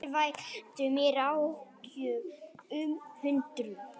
Það veldur mér áhyggjum og undrun